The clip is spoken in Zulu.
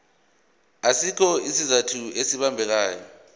asikho isizathu esibambekayo